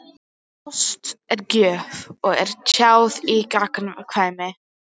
Ást er gjöf og er tjáð í gagnkvæmni.